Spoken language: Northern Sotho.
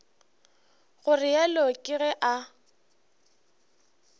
go realo ke ge a